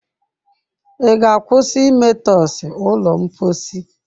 Ị ga-akwụsị imetọsị ụlọ mposi?